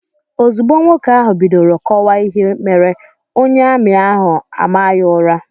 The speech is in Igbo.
Ozugbo nwoke ahụ bidoro kọwaa ihe mere, onye ami ahụ a maa ya ụra.